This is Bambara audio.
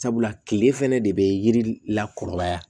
Sabula kile fɛnɛ de be yiri la kɔrɔbaya